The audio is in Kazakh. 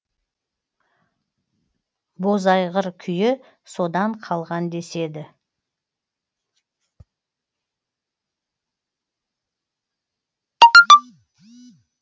бозайғыр күйі содан қалған деседі